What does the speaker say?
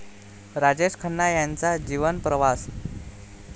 राजेश खन्ना यांचा जीवनप्रवास